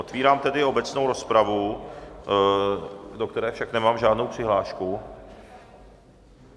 Otevírám tedy obecnou rozpravu, do které však nemám žádnou přihlášku.